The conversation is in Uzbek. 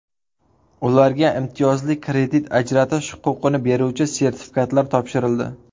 Ularga imtiyozli kredit ajratish huquqini beruvchi sertifikatlar topshirildi.